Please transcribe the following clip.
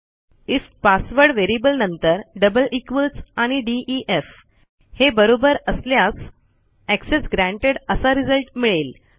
if password variable नंतर double equals आणि DEF हे बरोबर असल्यास एक्सेस ग्रँटेड असा रिझल्ट मिळेल